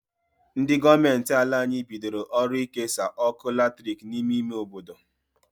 Ndi goomenti ala anyi bidoro ọrụ ikesa ọkụ latrik n'ime ime obodo..